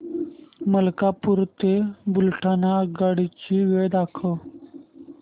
मलकापूर ते बुलढाणा आगगाडी ची वेळ दाखव